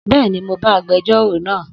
Bẹ́ẹ̀ni, mo bá agbẹjórò náà